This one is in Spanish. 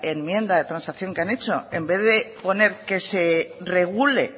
enmienda de transacción que han hecho en vez de poner que se regule